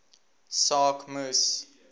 saak moes